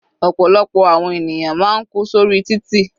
Ọ̀pọ̀lọpọ̀ àwọn ènìyàn máa ń kú sórí títì.